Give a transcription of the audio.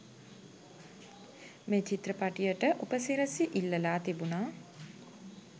මේ චිත්‍රපටියට උපසිරැසි ඉල්ලලා තිබුනා.